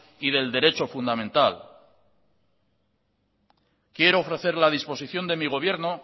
y del derecho fundamental quiero ofrecer la disposición de mi gobierno